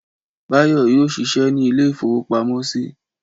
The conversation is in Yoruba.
Báyọ̀ yóò ṣiṣẹ́ ní ilé-ìfowópamọ́sí.